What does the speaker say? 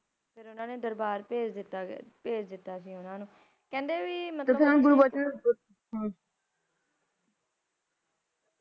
ਫਿਰ ਓਹਨਾ ਨੇ ਦਰਬਾਰ ਭੇਜ ਦਿੱਤਾ ਗਿਆ, ਭੇਜ ਦਿੱਤਾ ਸੀ ਓਹਨਾ ਨੂੰ, ਕਹਿੰਦੇ ਵੀ ਮਤਲਬ ਤੁਸਾਂ ਗੁਰਬਚਨ